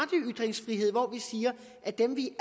ytringsfrihed hvor vi siger at dem vi